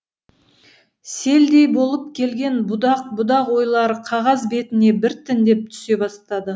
селдей болып келген будақ будақ ойлары қағаз бетіне біртіндеп түсе бастады